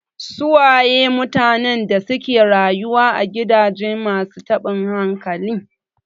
Su waye mutanen da suke rayuwa a gidajen masu taɓin hankali?